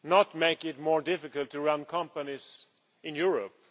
not make it more difficult to run companies in Europe.